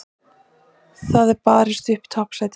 Það er því barist upp toppsætið.